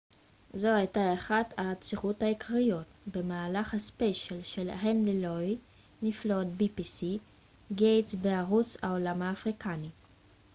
זו הייתה אחת העצירות העיקריות במהלך הספיישל של הנרי לואי גייטס בערוץ pbs נפלאות העולם האפריקני